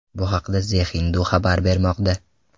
Bu haqda The Hindu xabar bermoqda .